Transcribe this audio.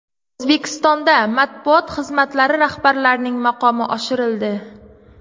O‘zbekistonda matbuot xizmatlari rahbarlarining maqomi oshirildi.